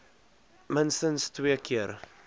minstens twee keer